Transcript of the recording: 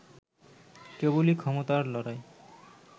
কেবলই ক্ষমতার লড়াই